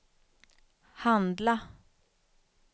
handla